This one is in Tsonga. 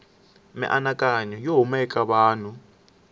mianakanyo yo huma eka vanhu